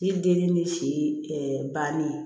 Ni denni ni si bannen